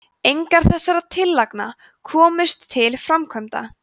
engar þessara tillagna komust til framkvæmda